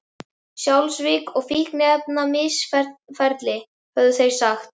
Fjársvik og fíkniefnamisferli, höfðu þeir sagt.